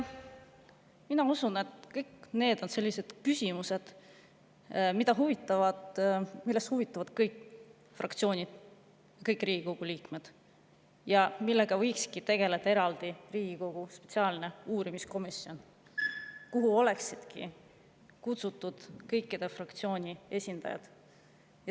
Mina usun, et kõik need on sellised küsimused, millest huvituvad kõik fraktsioonid, kõik Riigikogu liikmed ja millega võikski eraldi tegeleda Riigikogu spetsiaalne uurimiskomisjon, kuhu oleksid kutsutud kõikide fraktsioonide esindajad.